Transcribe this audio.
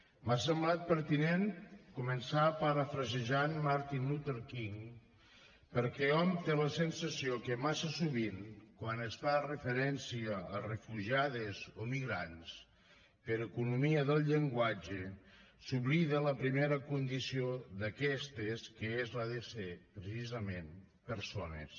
m’ha semblat pertinent començar a parafrasejant martin luther king perquè hom té la sensació que massa sovint quan es fa referència a refugiades o migrants per economia del llenguatge s’oblida la primera condició d’aquestes que és la de ser precisament persones